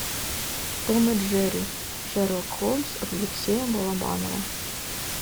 том и джерри шерлок холмс алексея балабанова